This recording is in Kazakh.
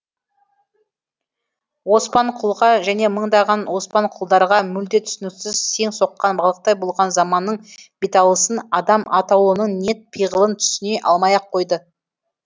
оспанқұлға және мыңдаған оспанқұлдарға мүлде түсініксіз сең соққан балықтай болған заманның беталысын адам атаулының ниет пиғылын түсіне алмай ақ қойды